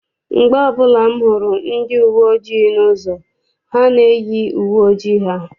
Mgbe ọbụla m hụrụ ndi uwe ojii n'ụzọ, ha na-eyi uwe ojii ha.